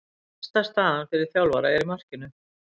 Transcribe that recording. Besta staðan fyrir þjálfara er í markinu.